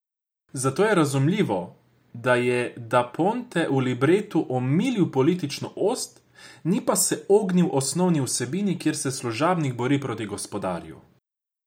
Zato je razumljivo, da je da Ponte v libretu omilil politično ost, ni pa se ognil osnovni vsebini, kjer se služabnik bori proti gospodarju.